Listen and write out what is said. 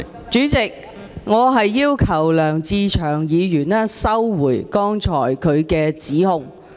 主席，我要求梁志祥議員收回剛才的指控。